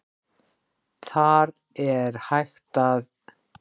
Þar er hægt að